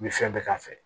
N bɛ fɛn bɛɛ k'a fɛ